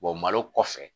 malo kɔfɛ